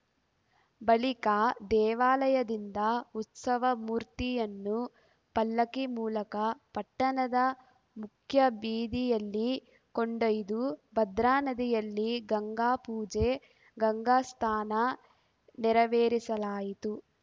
ಬಳಿಕ ದೇವಾಲಯದಿಂದ ಉತ್ಸವ ಮೂರ್ತಿಯನ್ನು ಪಲ್ಲಕ್ಕಿ ಮೂಲಕ ಪಟ್ಟಣದ ಮುಖ್ಯಬೀದಿಯಲ್ಲಿ ಕೊಂಡೊಯ್ದು ಭದ್ರಾನದಿಯಲ್ಲಿ ಗಂಗಾಪೂಜೆ ಗಂಗಾಸ್ಥಾನ ನೆರವೇರಿಸಲಾಯಿತು